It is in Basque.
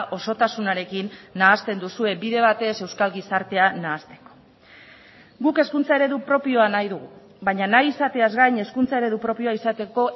osotasunarekin nahasten duzue bide batez euskal gizartea nahasteko guk hezkuntza eredu propioa nahi dugu baina nahi izateaz gain hezkuntza eredu propioa izateko